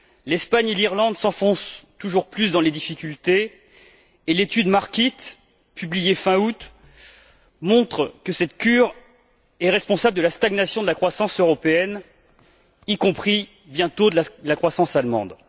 L'Espagne et l'Irlande s'enfoncent toujours plus dans les difficultés et l'étude Markit, publiée fin août, montre que cette cure est responsable de la stagnation de la croissance européenne, y compris bientôt de la croissance allemande.